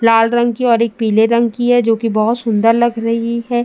लाल रंग की है और एक पीले रंग की है जोकि बहोत सुन्दर लग रही है।